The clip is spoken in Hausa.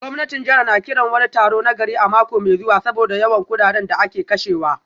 Gwamnatin jihar na kiran wani taro na gari a mako mai zuwa saboda yawan kudaden da ake kashewa